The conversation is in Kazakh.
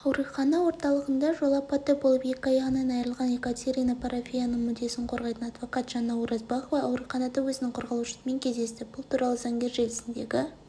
алматы орталығында жол апаты болып екі аяғынан айырылған екатерина парафиеваның мүддесін қорғайтын адвокат жаннауразбахова ауруханада өзінің қорғалушысымен кездесті бұл туралы заңгер желісіндегі